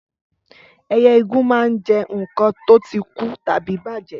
Ẹyẹ igún máa ń jẹ nǹkan tó ti kú tàbí bàjẹ́